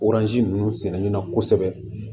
ninnu sɛnɛ na kosɛbɛ